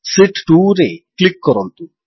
sheet 2ରେ click କରନ୍ତୁ